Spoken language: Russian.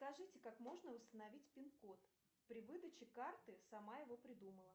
скажите как можно установить пин код при выдаче карты сама его придумала